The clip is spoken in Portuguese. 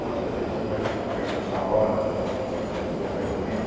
Quantas vezes você vai per perguntar a hora e a pessoa sai correndo?